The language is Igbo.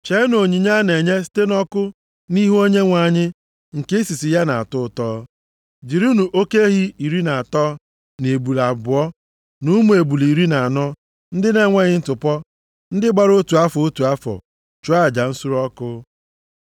Cheenụ onyinye a na-enye site nʼọkụ nʼihu Onyenwe anyị nke isisi ya na-atọ ya ụtọ, jirinụ oke ehi iri na atọ, na ebule abụọ, na ụmụ ebule iri na anọ ndị na-enweghị ntụpọ, ndị gbara otu afọ, otu afọ, chụọ aja nsure ọkụ.